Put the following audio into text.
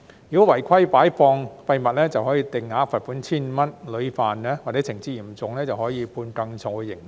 如果違規擺放廢物，可以遭定額罰款 1,500 元，屢犯或情節嚴重可以判更重刑罰。